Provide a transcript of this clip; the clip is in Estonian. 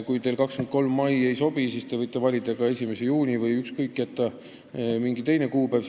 Kui teile 23. mai ei sobi, siis võite valida 1. juuni või mingi teise kuupäeva.